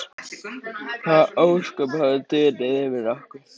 Hvaða ósköp hafa dunið yfir okkur?